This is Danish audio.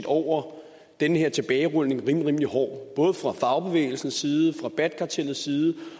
over den her tilbagerulning rimelig hård både fra fagbevægelsens side fra bat kartellets side